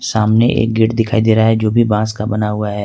सामने एक गेट दिखाई दे रहा है जो भी बस का बना हुआ है।